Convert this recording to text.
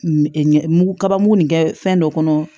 Ɲɛ mugu kaba mugu nin kɛ fɛn dɔ kɔnɔ